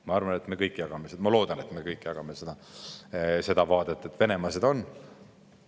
Ma arvan ja loodan, et me kõik jagame seda vaadet, et Venemaa on.